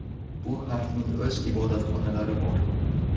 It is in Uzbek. Bu harfning o‘z ibodatxonalari bor .